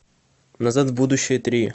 назад в будущее три